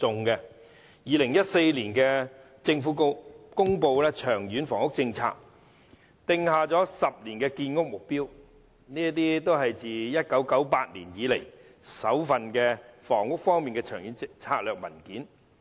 2014年，政府公布"長遠房屋政策"，訂下10年建屋目標，是自1998年以來首份房屋方面的長遠策略文件。